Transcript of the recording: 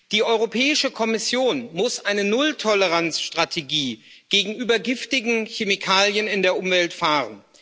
Die Europäische Kommission muss eine Nulltoleranzstrategie gegenüber giftigen Chemikalien in der Umwelt fahren.